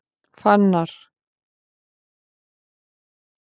Fannar